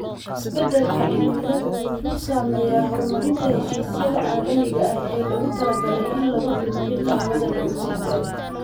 Isbeddelka cimiladu wuxuu saameeyaa horumarinta heshiisyada caalamiga ah ee loogu talagalay in lagu dhimo qiiqa hawada lagu sii daayo.